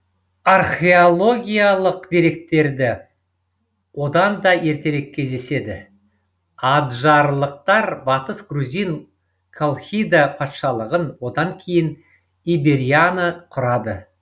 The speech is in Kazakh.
археологиялық деректерді одан да ертерек кездеседі аджарлықтар батыс грузин колхида патшалығын одан кейін иберияна құрады